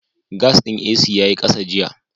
Gas ɗin AC ya yi ƙasa jiya.